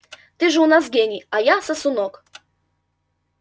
ты же у нас гений а я сосунок